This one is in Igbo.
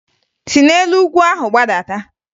Si n'elu ugwu ahụ gbadata!